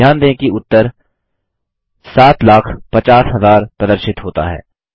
ध्यान दें कि उत्तर 750000 प्रदर्शित होता है